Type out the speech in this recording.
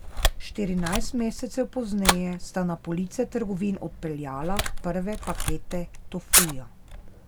Štirinajst mesecev pozneje sta na police trgovin odpeljala prve pakete tofuja.